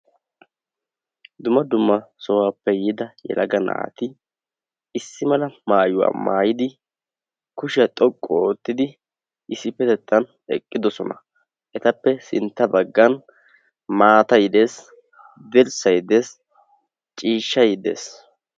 Dumma dumma sohuwappe yiida yelaga naati issi mala maayuwa maayidi kushiya xoqqu oottidi issippetettan eqqidosona. Etappe sintta baggan maatay de'ees, dirssay dees, ciishshay dees.